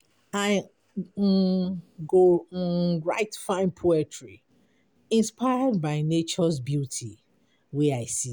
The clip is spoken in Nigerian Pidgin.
I um go um write fine poetry inspired by nature’s beauty wey I see.